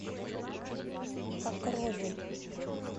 покрове